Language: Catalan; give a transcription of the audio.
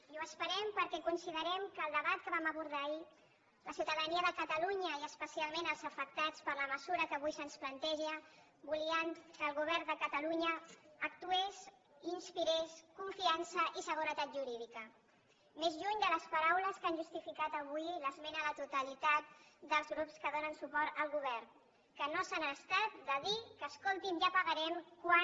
i ho esperem perquè considerem que en el debat que vam abordar ahir la ciutadania de catalunya i especialment els afectats per la mesura que avui se’ns planteja volien que el govern de catalunya actués i inspirés confiança i seguretat jurídica més lluny de les paraules que han justificat avui l’esmena a la totalitat dels grups que donen suport al govern que no se n’han estat de dir que escolti’m ja pagarem quan